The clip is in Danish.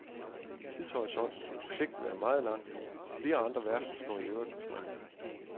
Tidshorisonten for projektet er meget lang, og flere andre værfter står i øvrigt på spring.